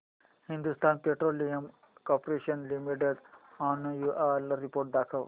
Hindustan petroleum corporation limited annual report दाखव